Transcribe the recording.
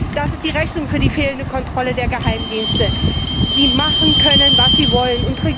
Das ist die Rechnung für die fehlende Kontrolle der Geheimdienste, die machen können, was sie wollen.